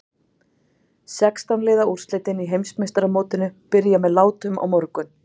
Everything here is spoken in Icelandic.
Sextán liða úrslitin í Heimsmeistaramótinu byrja með látum á morgun.